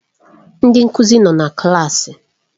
Ndị nkuzi nọ na klaasị.